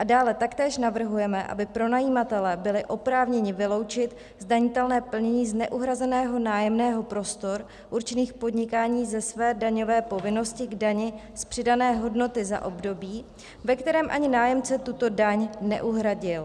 A dále taktéž navrhujeme, aby pronajímatelé byli oprávněni vyloučit zdanitelné plnění z neuhrazeného nájemného prostor určených k podnikání ze své daňové povinnosti k dani z přidané hodnoty za období, ve kterém ani nájemce tuto daň neuhradil.